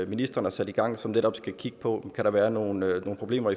ministeren har sat i gang og som netop skal kigge på om kan være nogen problemer